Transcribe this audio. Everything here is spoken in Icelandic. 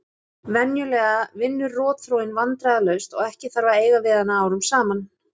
Venjulega vinnur rotþróin vandræðalaust og ekki þarf að eiga við hana árum saman.